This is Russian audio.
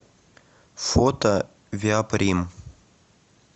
фото виаприм